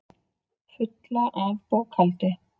Fulla af bókhaldi.